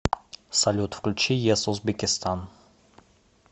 салют включи ес узбекистан